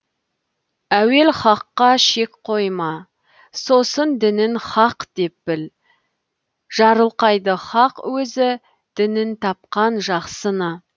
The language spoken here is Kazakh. әуел хаққа шек қойма сосын дінін хақ деп біл жарылқайды хақ өзі дінін тапқан жақсыны